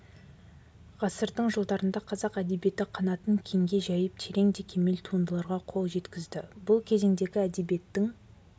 ғасырдың жылдарында қазақ әдебиеті қанатын кеңге жайып терең де кемел туындыларға қол жеткізді бұл кезеңдегі әдебиеттің